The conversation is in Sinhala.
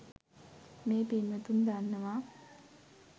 මේ පින්වතුන් දන්නවා